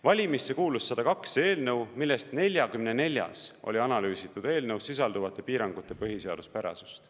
Valimisse kuulus 102 eelnõu, millest 44-s oli analüüsitud eelnõus sisalduvate piirangute põhiseaduspärasust.